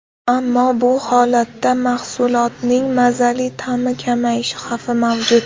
Ammo bu holatda mahsulotning mazali ta’mi kamayishi xavfi mavjud.